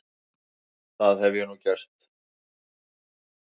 Það hef ég gert nú.